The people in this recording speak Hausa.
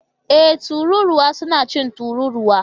Ee! Tururuwa suna cin tururuwa